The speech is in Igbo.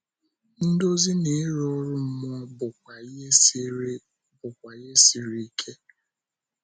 Ndozi na ịrụ ọrụ mmụọ bụkwa ihe siri bụkwa ihe siri ike.